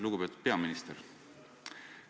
Lugupeetud peaminister!